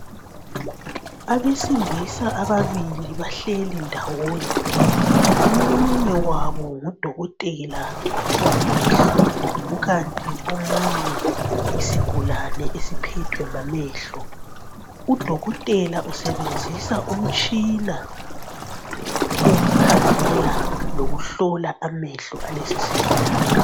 Abesilisa ababili bahleli ndawonye. Omunye wabo ngudokotela wamehlo, kukanti omunye yisigulane esiphethwe ngamehlo. Udokotela usebenzisa umtshina wokukhangela lokuhlola amehlo alesisigulane.